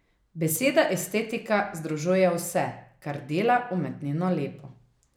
Beseda estetika združuje vse, kar dela umetnino lepo.